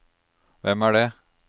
hvem er det